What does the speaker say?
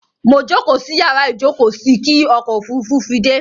Mo jókóò sí yàrá ìjókóò sí kí ọkò òfurufú fi dẹ́.